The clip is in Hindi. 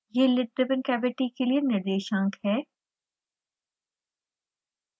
यह lid driven cavity के लिए निर्देशांक है